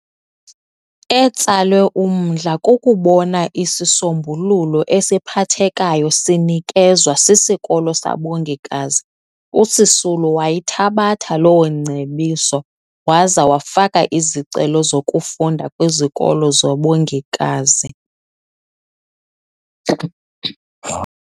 Etsalwe umdla kukubona isisombululo esiphathekayo sinekezwa siskolo sabongikazi uSisulu wayithabatha loongcebiso waze wafaka izicelo zokufunda kwizikolo zobongikazi.